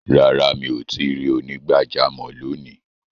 Rárá, mi o tìí rí onígbàjàmọ̀ lóní.